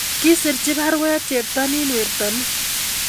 Kisirchi baruet cheptonin wertoni